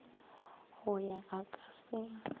go yo a ka se